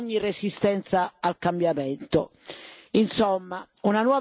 anche per sconfiggere ogni resistenza al cambiamento.